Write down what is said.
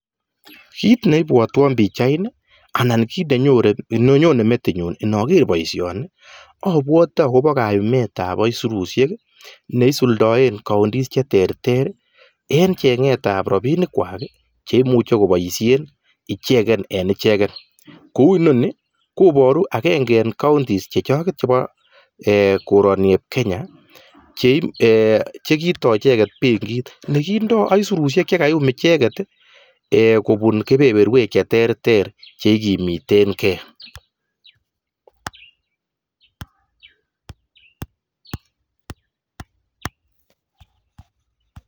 Kit neibwoton pichaini ko kaumet ab robinik cheboishe bik en emet eng emet nyo eng [county] Nebo narok ak indoi bik chepkondok sikokimetegei